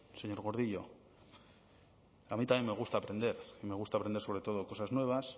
señor gordillo a mí también me gusta aprender y me gusta aprender sobre todo cosas nuevas